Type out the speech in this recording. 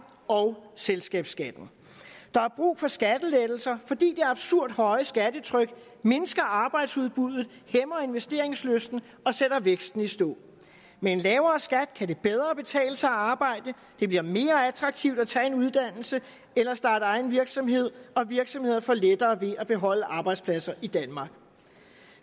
og selskabsskatten der er brug for skattelettelser fordi det absurd høje skattetryk mindsker arbejdsudbuddet hæmmer investeringslysten og sætter væksten i stå med en lavere skat kan det bedre betale sig at arbejde det bliver mere attraktivt at tage en uddannelse eller starte egen virksomhed og virksomheder får lettere ved at beholde arbejdspladser i danmark